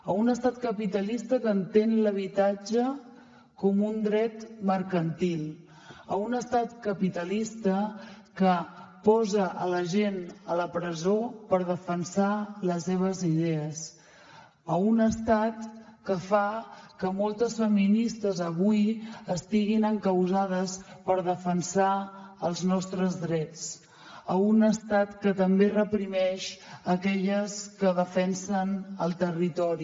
a un estat capitalista que entén l’habitatge com un dret mercantil a un estat capitalista que posa la gent a la presó per defensar les seves idees a un estat que fa que moltes feministes avui estiguin encausades per defensar els nostres drets a un estat que també reprimeix aquelles que defensen el territori